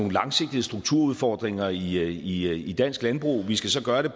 langsigtede strukturudfordringer i i dansk landbrug vi skal så gøre det